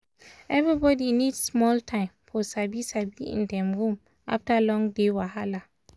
everybody need small time for sabi-sabi in dem room after long day wahala.